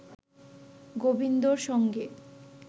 গোবিন্দর সঙ্গে